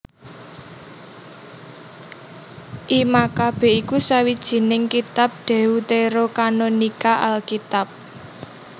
I Makabe iku sawijining kitab Deuterokanonika Alkitab